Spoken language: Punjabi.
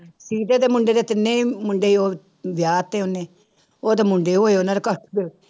ਸੀਤੇ ਦੇ ਮੁੰਡੇ ਦੇ ਤਿੰਨੇ ਹੀ ਮੁੰਡੇ ਉਹ ਵਿਆਹ ਤੇ ਉਹਨੇ ਉਹਦੇ ਮੁੰਡੇ ਹੋਏ ਉਹਨਾਂ